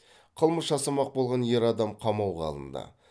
қылмыс жасамақ болған ер адам қамауға алынды